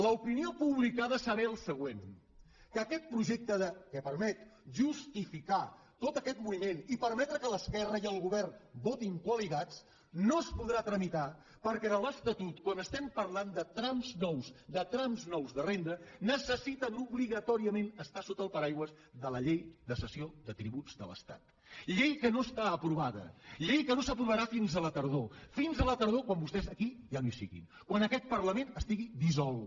l’opinió pública ha de saber el següent que aquest projecte que permet justificar tot aquest moviment i permetre que l’esquerra i el govern votin coalitzats no es podrà tramitar perquè en l’estatut quan estem parlant de trams nous de trams nous de renda necessiten obligatòriament estar sota el paraigua de la llei de cessió de tributs de l’estat llei que no està aprovada llei que no s’aprovarà fins a la tardor fins a la tardor quan vostès aquí ja no hi siguin quan aquest parlament estigui dissolt